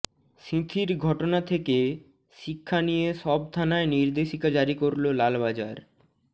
সিঁথির ঘটনা থেকে শিক্ষা নিয়ে সব থানায় নির্দেশিকা জারি করল লালবাজার